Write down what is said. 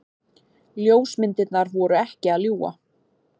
Ljósmyndirnar voru ekki að ljúga.